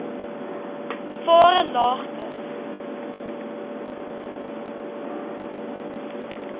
varelagte